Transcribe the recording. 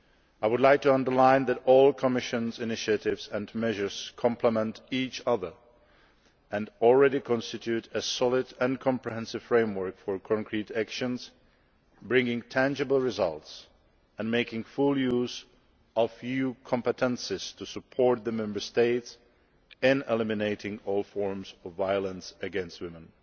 I would like to emphasise that all the Commission initiatives and measures are mutually complementary and that they already constitute a solid and comprehensive framework for concrete action, bringing tangible results and making full use of EU competences to support the Member States in eliminating all forms of violence against women.